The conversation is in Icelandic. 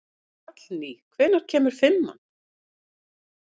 Hallný, hvenær kemur fimman?